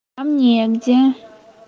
а мне где